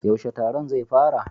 Yaushe taron zai fara?